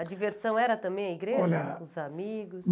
A diversão era também a igreja, olha os amigos?